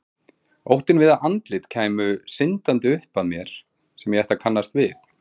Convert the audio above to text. Óttinn við að andlit kæmu syndandi upp að mér sem ég ætti að kannast við.